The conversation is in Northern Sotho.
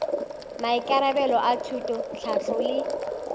maikarabelo a thuto tlhahlo le